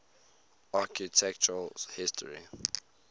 architectural history